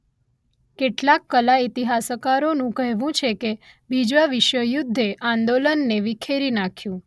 કેટલાક કલા ઇતિહાસકારોનું કહેવું છે કે બીજા વિશ્વયુદ્ધે આંદોલનને વિખેરી નાખ્યું